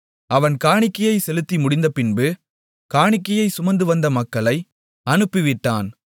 அவன் காணிக்கையைச் செலுத்தி முடிந்தபின்பு காணிக்கையைச் சுமந்து வந்த மக்களை அனுப்பிவிட்டான்